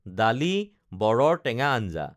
ডালি বৰৰ টেঙা আঞ্জা